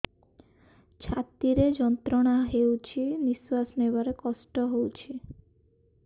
ଛାତି ରେ ଯନ୍ତ୍ରଣା ହଉଛି ନିଶ୍ୱାସ ନେବାରେ କଷ୍ଟ ହଉଛି